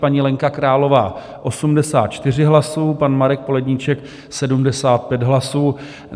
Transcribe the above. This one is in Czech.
Paní Lenka Králová 84 hlasů, pan Marek Poledníček 75 hlasů.